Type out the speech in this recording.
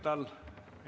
Olge lahke!